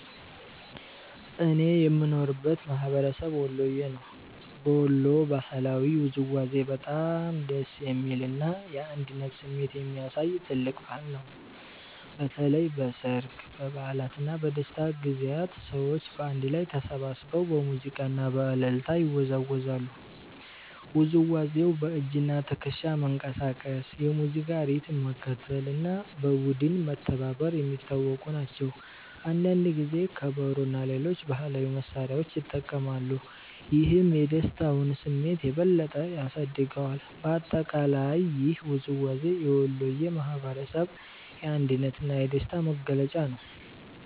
እኔ የምኖርበት ማህበረሰብ ወሎየ ነው። በወሎ ባህላዊ ውዝዋዜ በጣም ደስ የሚል እና የአንድነት ስሜት የሚያሳይ ትልቅ ባህል ነው። በተለይ በሠርግ፣ በበዓላት እና በደስታ ጊዜያት ሰዎች በአንድ ላይ ተሰብስበው በሙዚቃ እና በእልልታ ይወዛወዛሉ። ውዝዋዜው በእጅና ትከሻ መንቀሳቀስ፣ የሙዚቃ ሪትም መከተል እና በቡድን መተባበር የሚታወቁ ናቸው። አንዳንድ ጊዜ ከበሮ እና ሌሎች ባህላዊ መሳሪያዎች ይጠቀማሉ፣ ይህም የደስታውን ስሜት የበለጠ ያሳድገዋል። በአጠቃላይ ይህ ውዝዋዜ የወሎየ ማህበረሰብ የአንድነት እና የደስታ መገለጫ ነው።